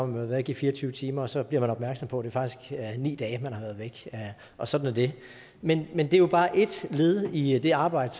været væk i fire og tyve timer og så bliver man opmærksom på at det faktisk er ni dage man har været væk og sådan er det men men det er jo bare ét led i i det arbejde